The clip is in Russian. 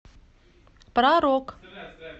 про рок